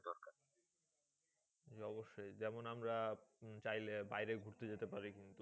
জি অবশ্যই। যেমন আমরা চাইলে বাইরে ঘুরতে যেতে পারি কিন্তু,